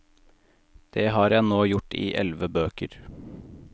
Det har jeg nå gjort i elleve bøker.